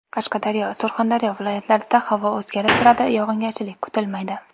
Qashqadaryo, Surxondaryo viloyatlarida havo o‘zgarib turadi, yog‘ingarchilik kutilmaydi.